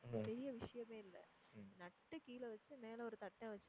பெரிய விஷயமே இல்ல. நட்டு கீழ வச்சுட்டு மேல ஒரு தட்ட வச்சு